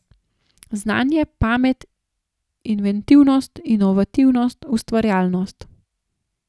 Znanje, pamet, inventivnost, inovativnost, ustvarjalnost.